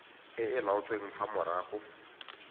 e e laotsweng fa morago